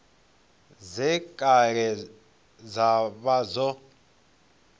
dze kale dza vha dzo